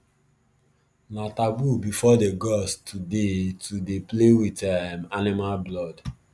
na taboo before the gods to dey to dey play with um animal blood